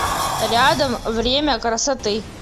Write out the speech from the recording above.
рядом время красоты